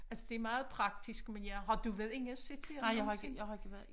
Altså det er meget praktisk men ja har du været inde og se det nogensinde